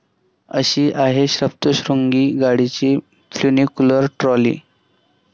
अशी आहे सप्तश्रृंगी गडाची फ्युनिक्युलर ट्रॉली!